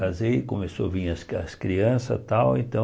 Casei, começou a vir as cri as crianças e tal, então...